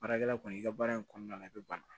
Baarakɛla kɔni i ka baara in kɔnɔna na i bi bana